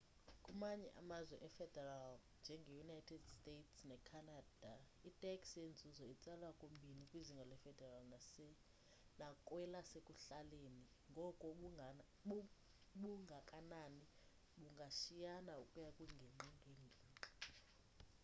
kumanye amazwe efederal njenge united states ne canada itax yenzuzo itsalwa kubini kwizinga le federal nakwelasekuhlaleni ngoko ubungakanani bungashiyana ukuya kwingingqi ngengingqi